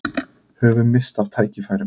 Höfum misst af tækifærum